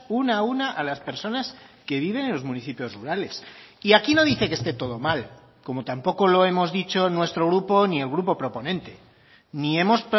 una a una a las personas que viven en los municipios rurales y aquí no dice que esté todo mal como tampoco lo hemos dicho nuestro grupo ni el grupo proponente ni hemos